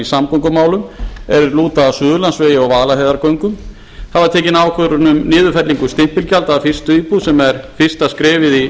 í samgöngumálum er lúta að suðurlandsvegi og vaðlaheiðargöngum það var tekin ákvörðun um niðurfellingu stimpilgjalda af fyrstu íbúð sem er fyrsta skrefið í